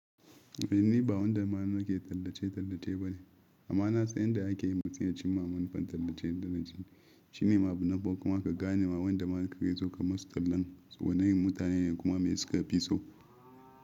Inni ba wanda manoma ke tallace-tallace ba ne, amma nasa inda ake yi matsayin cin mamman fam tallace-tallace shine mabunaba kuma ka gane ma wanda ma ka ga zo ka masu tallan tsohonin mutane kuma me suka fi so.